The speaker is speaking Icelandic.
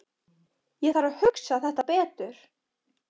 Ég þarf að hugsa þetta betur.